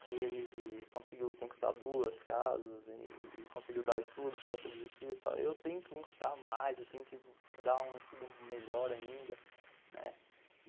Se ele conseguiu conquistar duas casas e conseguiu dar o estudo para todos os filhos, eu tenho que conquistar mais, eu tenho que dar um estudo melhor ainda, né.